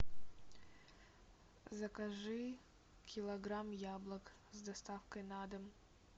закажи килограмм яблок с доставкой на дом